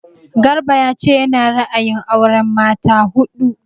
Garba ya ce ya na ra'ayin auren mata huɗu